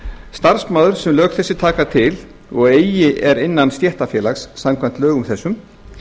starfsmaður sem lög þessi taka til og eigi er innan stéttarfélags samkvæmt lögum þessum